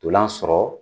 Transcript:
Ntolan sɔrɔ